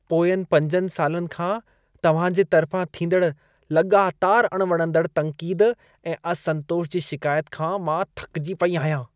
पोयंनि 5 सालनि खां तव्हां जे तर्फां थींदड़ लॻातार अणवणंदड़ तन्क़ीद ऐं असंतोष जी शिकायत खां मां थकिजी पई आहियां।